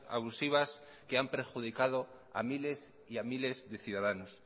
abusivas que han perjudicado a miles y a miles de ciudadanos